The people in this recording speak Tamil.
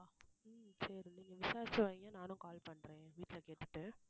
உம் சரி நீங்க விசாரிச்சு வைங்க நானும் call பண்றேன் என் வீட்டுல கேட்டுட்டு